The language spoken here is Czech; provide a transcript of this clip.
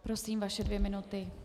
Prosím, vaše dvě minuty.